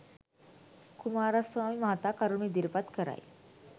කුමාරස්වාමි මහතා කරුණු ඉදිරිපත් කරයි